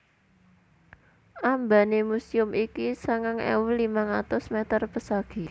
Ambané muséum iki sangang ewu limang atus mèter pesagi